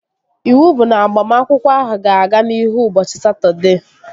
Iwu bụ na agbamakwụkwọ ahụ ga-aga n'ihu ụbọchị Satọdee!